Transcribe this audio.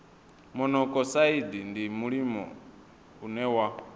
monokosaidi ndi mulimo une wa